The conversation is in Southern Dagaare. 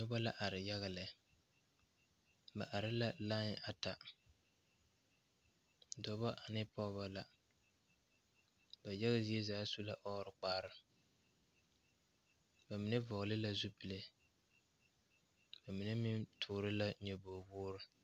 Nobɔ la are yaga lɛ ba are la lai ata dɔbɔ ane pɔɔbɔ la ba yaga zie zaa su la ɔɔre kparre ba mine vɔgle la zupile ba mine meŋ toore la nyoboge woore.